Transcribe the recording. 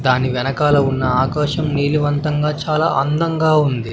దాని వెనకాల ఉన్న ఆకాశం నీలివంతంగా చాలా అందంగా ఉంది.